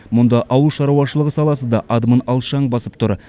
мұнда ауыл шаруашлығы саласы да адымын алшаң басып тұр